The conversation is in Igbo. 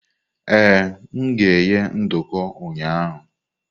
Ee, m ga-eghe nduku ụnyahụ.